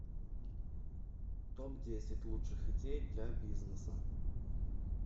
топ десять лучших идей для бизнеса